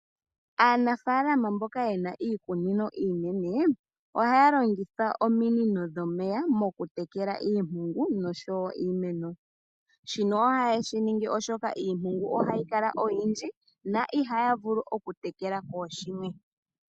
Aanafalama mboka yena iikunino iinene ohaya longitha ominino dhomeya mokutekela iimpungu niimeno, shino ohaye shi ningi oshoka iimpungu ohayi kala oyindji no ihaya vulu okutekela kooshimwe.